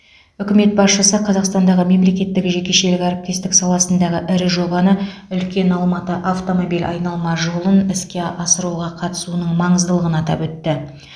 үкімет басшысы қазақстандағы мемлекеттік жекешелік әріптестік саласындағы ірі жобаны үлкен алматы автомобиль айналма жолын іске асыруға қатысуының маңыздылығын атап өтті